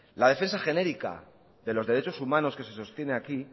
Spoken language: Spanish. la defensa genérica de los derechos humanos que se sostiene aquí